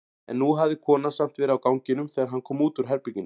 En nú hafði konan samt verið á ganginum þegar hann kom út úr herberginu.